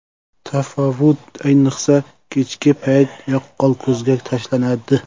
Tafovut ayniqsa kechki payt yaqqol ko‘zga tashlanadi.